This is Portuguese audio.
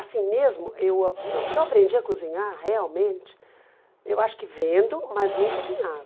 Assim mesmo, eu a eu eu aprendi a cozinhar realmente, eu acho que vendo, mas não cozinhava.